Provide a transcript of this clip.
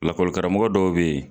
Lakɔli karamɔgɔ dɔw bɛ ye.